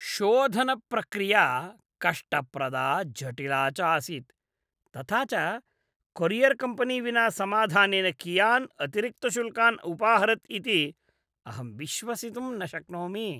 शोधनप्रक्रिया कष्टप्रदा जटिला चासीत्, तथा च कोरियर्कम्पनी विना समाधानेन कियान् अतिरिक्तशुल्कान् उपाहरत् इति अहं विश्वसितुं न शक्नोमि।